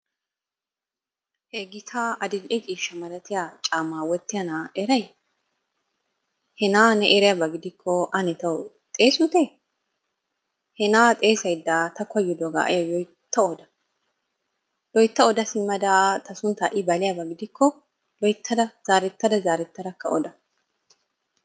He gitaa adil"e ciishshaa malatiya caammaa wottiya na'aa eray? He na'aa ne eriyaba gidikko ane xeesutte? He na'aa xeessayda ta koyiddobaa tawu loytta oda, loytta oda simmada ta sunttaa I baliyaba gidikko loyttada zaarettada zaarettakka oda.